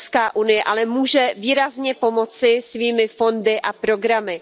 EU ale může výrazně pomoci svými fondy a programy.